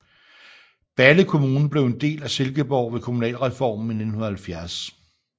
Balle Kommune blev en del af Silkeborg ved kommunalreformen i 1970